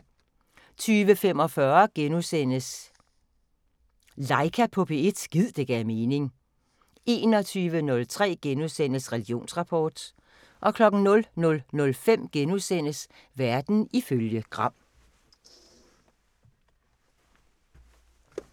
20:45: Laika på P1 – gid det gav mening * 21:03: Religionsrapport * 00:05: Verden ifølge Gram *